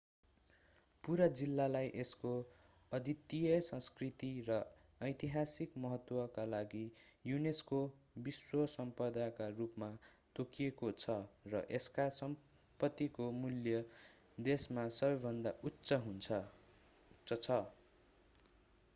पूरा जिल्लालाई यसको अद्वितीय सांस्कृतिक र ऐतिहासिक महत्त्व का लागि unesco विश्व सम्पदाका रूपमा तोकिएको छ र यसका सम्पत्तिको मूल्य देशमा सबैभन्दा उच्च छ